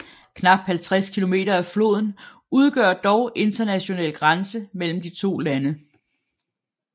Knap 50 km af floden udgør dog international grænse mellem de to lande